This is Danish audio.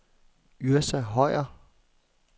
Yrsa Høyer